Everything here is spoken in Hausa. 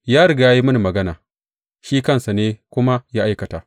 Ya riga ya yi mini magana, shi kansa ne kuma ya aikata.